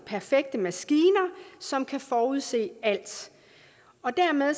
perfekte maskiner som kan forudse alt og dermed